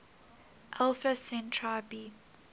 alpha centauri b